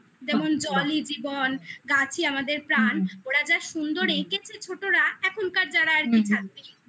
যেমন জলই জীবন, গাছই আমাদের প্রাণ ওরা যা সুন্দর এঁকেছে ছোটরা এখনকার যারা আর কি